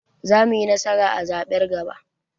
Za muyi nasara a zaɓen gaba